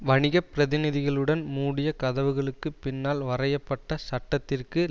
வணிக பிரதிநிதிகளுடன் மூடிய கதவுகளுக்குப் பின்னால் வரைய பட்ட சட்டத்திற்கு